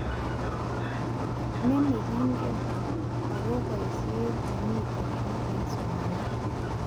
Ne nekegen ako boishet nemiten ngwony eng somanet